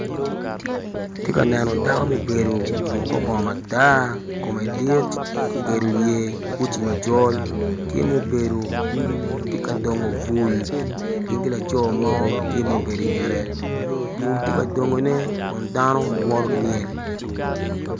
Atye ka neno dako mubedo oruko kor bongo matar kume dit okedo wiye ki uci macol tye mubedo tye ka dongo bul gin ki laco mo tye mubedo i ngette bul tye ka dongone kun dano woto ki myel.